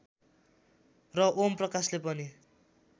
र ओम प्रकाशले पनि